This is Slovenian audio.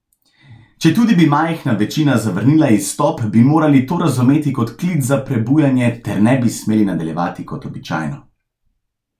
Četudi bi majhna večina zavrnila izstop, bi morali to razumeti kot klic za prebujenje ter ne bi smeli nadaljevati kot običajno.